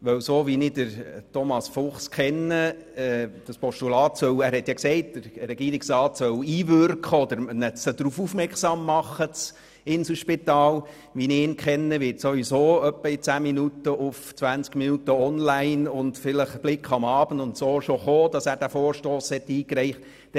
Denn so wie ich Thomas Fuchs kenne und weil er gesagt hat, der Regierungsrat solle darauf hinwirken oder das Inselspital darauf aufmerksam machen, wird ohnehin etwa in zehn Minuten online im «20 Minuten» und vielleicht im «Blick am Abend» zu lesen sein, dass er diesen Vorstoss eingereicht hat.